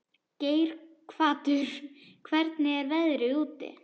Geirhvatur, hvernig er veðrið úti?